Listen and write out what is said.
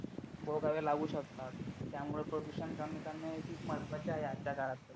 भोगावे लागू शकतात त्यामुळे प्रदूषण कमी करणे खूप महत्त्वाचे आहे आजच्या काळात